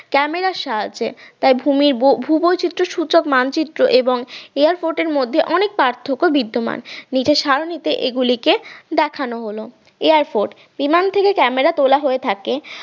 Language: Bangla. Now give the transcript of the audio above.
camera র সাহায্যে তাই ভূমির ভূ-বৈচিত্র সূচক মানচিত্র এবং এয়ারফর্ট এর মধ্যে অনেক পার্থক্য বিদ্যমান নিচের সারণিতে এগুলিকে দেখানো হলো এয়ারফর্ট বিমান থেকে camera তোলা হয়ে থাকে